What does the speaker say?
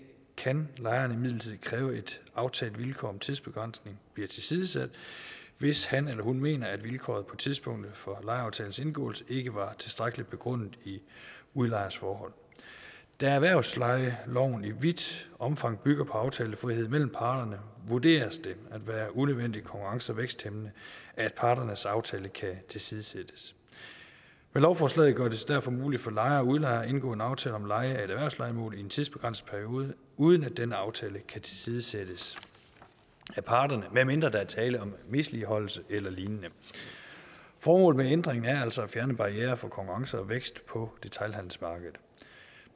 kan lejerne imidlertid kræve at et aftalt vilkår om tidsbegrænsning bliver tilsidesat hvis han eller hun mener at vilkåret for tidspunktet for lejeaftalens indgåelse ikke var tilstrækkelig begrundet i udlejers forhold da erhvervslejeloven i vidt omfang bygger på aftalefrihed mellem parterne vurderes det at være unødvendigt konkurrence og væksthæmmende at parternes aftale kan tilsidesættes med lovforslaget gøres det derfor muligt for lejere og udlejere at indgå en aftale om leje af et erhvervslejemål i en tidsbegrænset periode uden at den aftale kan tilsidesættes af parterne medmindre der er tale om misligholdelse eller lignende formålet med ændringen er altså at fjerne barrierer for konkurrence og vækst på detailhandelsmarkedet